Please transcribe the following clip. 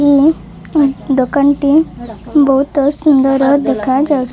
ଇ ଦୋକାନ୍ ଟି ବୋହୁତ ସୁନ୍ଦର ଦେଖାଯାଉ --